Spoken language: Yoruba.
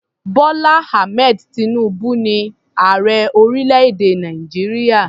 Bọ́lá Ahmed tinubu ni ààrẹ orílẹ̀-èdè Nàìjíríà.